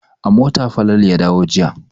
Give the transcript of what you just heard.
A mota Falalu ya dawo jiya.